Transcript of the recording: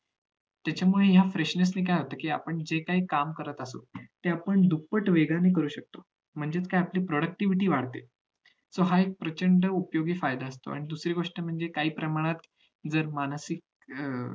त्याच्यामुळे ह्या freshness ने काय होत कि आपण जे काही काम करत असू ते आपण दुप्पट वेगाने करू शकतो म्हणजे काय आपली productvity वाढते so हा एक प्रचंड उपयोगी फायदा आहे आणि दुसरी गोष्ट म्हणजे काही प्रमाणात जर मानसीक अं